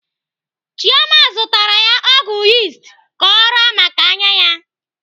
Chioma zụtara ya ọgwụ yist ka ọ raa maka anya ya.